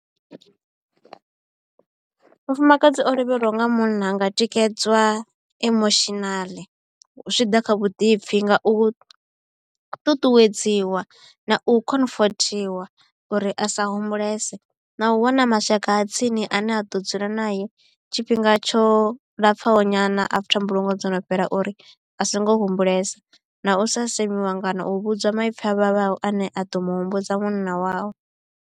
Mufumakadzi o lovheliwaho nga munna anga tikedzwa emotional zwi tshi ḓa kha vhuḓipfhi nga u ṱuṱuwedziwa na u konfothikhwa uri a sa humbulese na u wana mashaka a tsini ane a ḓo dzula nae tshifhinga tsho lapfaho nyana after mbulungo dzo no fhela uri a songo humbulesa na u sa semiwa kana u vhudzwa maipfi a vhavhaho ane a ḓo mu humbudza munna wawe.